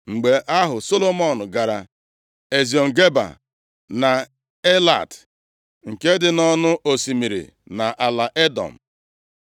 Mgbe ahụ, Solomọn gara Eziọn Geba na Elat nke dị nʼọnụ osimiri, nʼala Edọm.